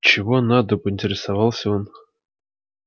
чего надо поинтересовался он